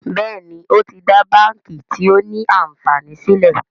Béèni o tí dá bánkì tio ní ànfàní sílè.